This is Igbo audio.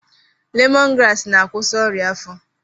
Lemọn graasị na-akwụsị ọrịa afọ.